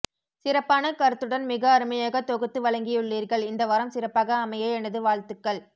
சிறப்பான கருத்துடன் மிக அருமையாக தொகுத்து வழங்கியுள்ளீர்கள் இந்த வாரம் சிறப்பாக அமைய எனது வாழ்த்துக்கள்